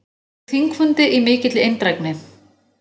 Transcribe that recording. Lauk þingfundi í mikilli eindrægni.